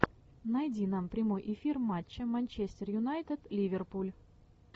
найди нам прямой эфир матча манчестер юнайтед ливерпуль